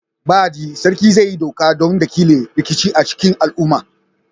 Baɗi, Sarkin zai yi doka don dakile rikici a cikin al'umma.